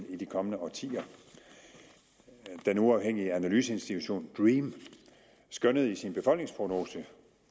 i de kommende årtier den uafhængige analyseinstitution dream skønnede i sin befolkningsprognose